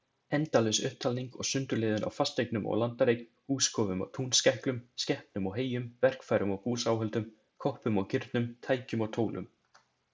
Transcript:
Endalaus upptalning og sundurliðun á fasteignum og landareign, húskofum og túnskæklum, skepnum og heyjum, verkfærum og búsáhöldum, koppum og kirnum, tækjum og tólum.